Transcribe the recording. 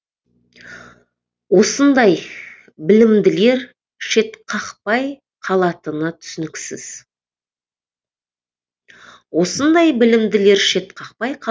осындай білімділер шетқақпай қалатыны түсініксіз